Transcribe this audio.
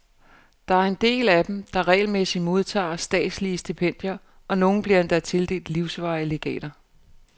Der er en del af dem, der regelmæssigt modtager statslige stipendier, og nogle bliver endda tildelt livsvarige legater.